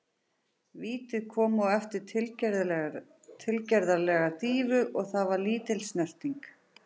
Vítið kom eftir tilgerðarlega dýfu og það var lítil snerting.